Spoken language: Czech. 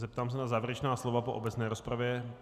Zeptám se na závěrečná slova po obecné rozpravě.